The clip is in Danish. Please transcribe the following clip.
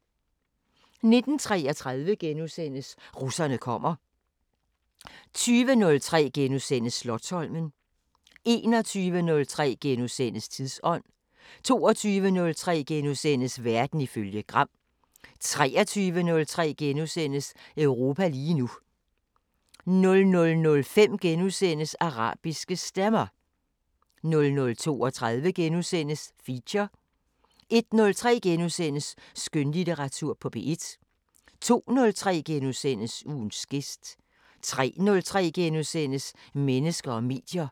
19:33: Russerne kommer * 20:03: Slotsholmen * 21:03: Tidsånd * 22:03: Verden ifølge Gram * 23:03: Europa lige nu * 00:05: Arabiske Stemmer * 00:32: Feature * 01:03: Skønlitteratur på P1 * 02:03: Ugens gæst * 03:03: Mennesker og medier *